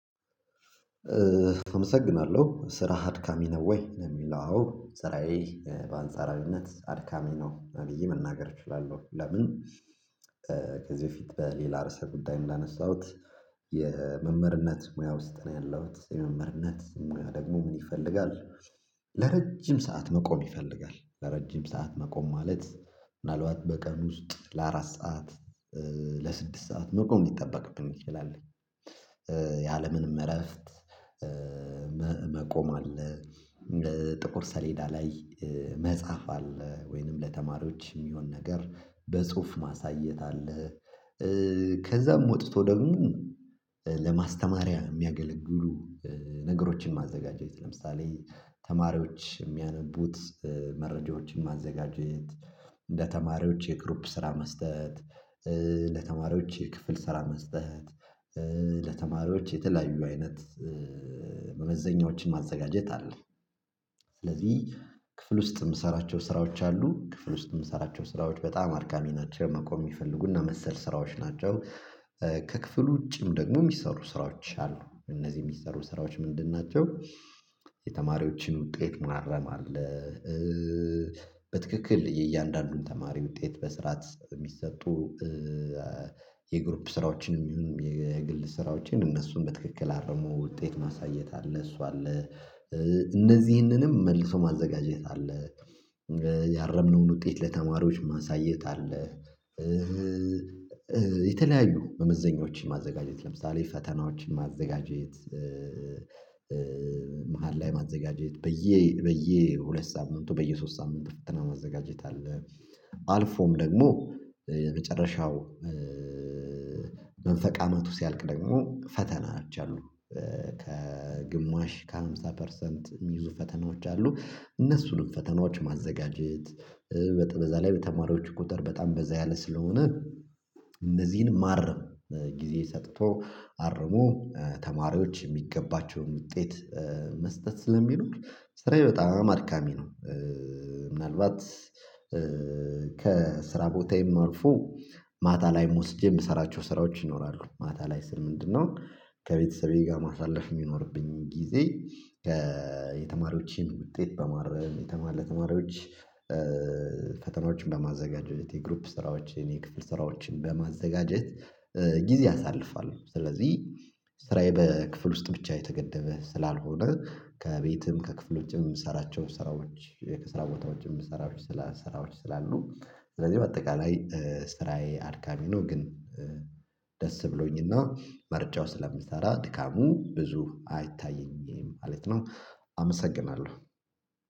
አመሰግናለሁ ስራ አድካሚ ነው ወይ? ለሚለው አዎ ስራዬ በአንጻራዊነት አድካሚ ነው ብዬ መናገር እችላለሁ። ለምን ከዚህ በፌት በሌላ ርዕሰ ጉዳይ ላነሳሁት የመመርነት ሙያ ውስጥ ነው ያለሁት መምህርነት ሙያ ደግሞ ምን ይፈልጋል? ለረጅም ሰዓት መቆም ይፈልጋል ለረጅም ሰዓት መቆም ማለት ምናልባት በቀን ውስጥ ለአራት ሰዓት ለስድስት ሰዓት መቆም ሊጠበቅብን ይችላል። የአለምንም እረፍት መቆም አለ እንደ ጥቁር ሰሌዳ ላይ መጻፍ አለ ወይንም ለተማሪዎች የሚሆን ነገር በጽሁፍ ማሳየት አለ። ከዛም ወጥቶ ደግሞ ለማስተማሪያ የሚያገለግሉ ነገሮችን ማዘጋጀት ለምሳሌ ተማሪዎች የሚያነቡት መረጃዎችን ማዘጋጀት እንደ ተማሪዎች የክሩፕ ስራ መስጠት ለተማሪዎች ክፍል ስራ መስጠት ለተማሪዎች የተለያዩ አይነት መመዘኛዎችን ማዘጋጀት አለ። ስለዚህ ክፍል ውስጥ የምሰራቸው ስራዎች አሉ ክፍል ውስጥ የምሰራቸው ስራዎች በጣም አድካሚ ናቸው መቆም የሚፈልጉና መሰል ስራዎች ናቸው። ከክፍሉ ውጪም ደግሞ የሚሰሩ ስራዎች አሉ እነዚህ የሚሰሩ ስራዎች ምንድን ናቸው? የተማሪዎችን ውጤት ማረም አለ። በትክክል የእያንዳንዱን ተማሪ ውጤት በስርዓት የሚሰጡ የግሩፕ ስራዎችንም ይሁን የግል ስራዎችን እነሱን በትክክል አረመው ውጤት ማሳየት አለ እሷ አለ እነዚህንንም መልሶ ማዘጋጀት አለ። ያረምነውን ውጤት ለተማሪዎች ማሳየት አለ። የተለያዩ መመዘኛዎችን ማዘጋጀት ለምሳሌ ፈተናዎችን ማዘጋጀት መሃል ላይ ማዘጋጀት ብዬ ብዬ ሁለት ሳምንቱ በየሶስት ሳምንት ፍትህና ማዘጋጀት አለ። አልፎም ደግሞ የመጨረሻው መንፈቅ አመት ውስጥ ያልቅ ደግሞ ፈተናዎች አሉ። ከግማሽ ከሃምሳ ፐርሰንት የሚይዙ ፈተናዎች አሉ እነሱንም ፈተናዎች ማዘጋጀት በዛ ላይ በተማሪዎች ቁጥር በጣም በዛ ያለ ስለሆነ እንደዚህን ማረም ጊዜ ሰጥቶ አርሞ ተማሪዎች የሚገባቸውን ውጤት መስጠት ስለሚሉት ስራዬ በጣም አድካሚ ነው። ምናልባት ከስራ ቦታዬም አልፎ ማታ ላይ ወስጄ የምሰራቸው ስራዎች ይኖራሉ ማታ ላይ ስል ምንድን ነው? ከቤተሰቤ ጋር ማሳለፍ የሚኖርብኝ ጊዜ የተማሪዎችን ውጤት በማረም የተማለ ተማሪዎች ፈተናዎችን በማዘጋጀት የግሩፕ ስራዎችን የኔ ክፍል ስራዎችን በማዘጋጀት ጊዜ አሳልፏል። ስለዚህ ስራዬ በክፍል ውስጥ ብቻ የተገደበ ስላልሆነ ከቤትም ከክፍሎችም ሰራቸው ስራዎች ከስራ ቦታዎችም ስራዎች ስራ ስራዎች ስላሉ ስለዚህ በአጠቃላይ ስራዬ አድካሚ ነው ግን ደስ ብሎኝና ምርጫው ስለምሰራ ድካሙ ብዙ አይታየኝም ማለት ነው። አመሰግናለሁ